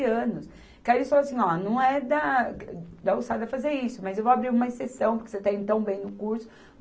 anos. Que aí ele falou assim, ó, não é da, da alçada fazer isso, mas eu vou abrir uma exceção, porque você está indo tão bem no curso.